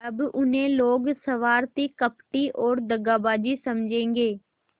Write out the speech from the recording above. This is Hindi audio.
अब उन्हें लोग स्वार्थी कपटी और दगाबाज समझेंगे